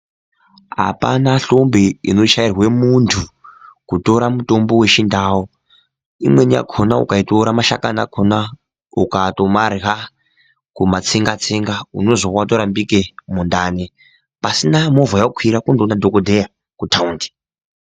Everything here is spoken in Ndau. Apana hlombe inoshairwe muntu kutora mutombo yechindau imweni yakhona ukaitora mashakani akhona ukatomarya kumatsenga tsenga unozwe watorapike mundani pasina movha yawakwira kundoona dhokodheya kutaundi.